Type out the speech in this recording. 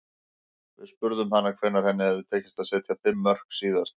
Við spurðum hana hvenær henni hefði tekist að setja fimm mörk síðast.